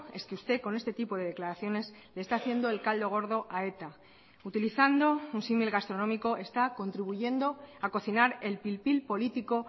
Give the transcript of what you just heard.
es que usted con este tipo de declaraciones le está haciendo el caldo gordo a eta utilizando un símil gastronómico está contribuyendo a cocinar el pil pil político